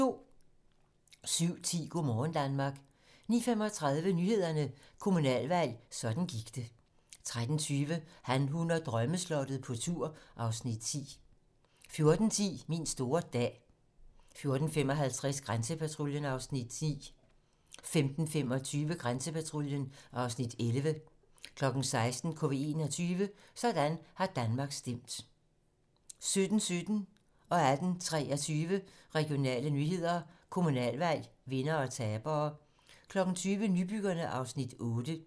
07:10: Go' morgen Danmark 09:35: Nyhederne: Kommunalvalg - sådan gik det 13:20: Han, hun og drømmeslottet - på tur (Afs. 10) 14:10: Min store dag 14:55: Grænsepatruljen (Afs. 10) 15:25: Grænsepatruljen (Afs. 11) 16:00: KV 21 - Sådan har Danmark stemt 17:17: Regionale nyheder: Kommunalvalg, vindere og tabere 18:23: Regionale nyheder: Kommunalvalg, vindere og tabere 20:00: Nybyggerne (Afs. 8)